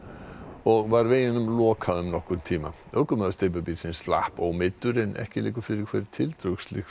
og var veginum lokað um nokkurn tíma ökumaður steypubílsins slapp ómeiddur en ekki liggur fyrir hver tildrög slyssins